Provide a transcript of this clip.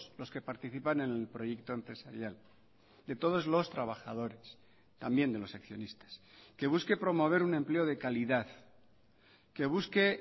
los que participan en el proyecto empresarial de todos los trabajadores también de los accionistas que busque promover un empleo de calidad que busque